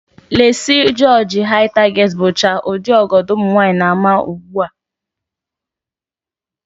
Leesi, jịọjị, Hai taget, bụcha ụdị ọgọdọ ụmụnwaanyị na-ama ugbu a